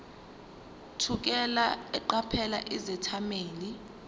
thukela eqaphela izethameli